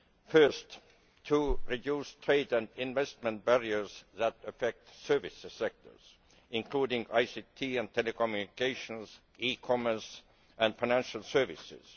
Firstly, to reduce trade and investment barriers that affect service sectors, including ICT and telecommunications, e commerce and financial services.